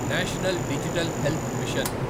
national Digital Health machine